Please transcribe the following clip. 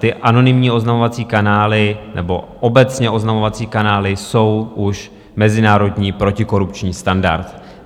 Ty anonymní oznamovací kanály nebo obecně oznamovací kanály jsou už mezinárodní protikorupční standard.